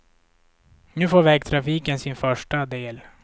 Nu får vägtrafiken sin första del.